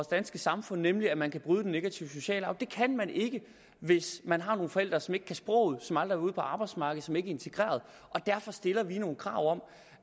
danske samfund nemlig at man kan bryde den negative sociale arv det kan man ikke hvis man har nogle forældre som ikke kan sproget som aldrig ude på arbejdsmarkedet som ikke er integreret derfor stiller vi nogle krav om